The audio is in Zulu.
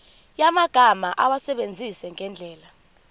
yamagama awasebenzise ngendlela